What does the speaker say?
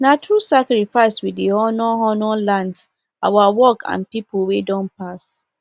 na through sacrifice we dey honour honour land our work and people wey don pass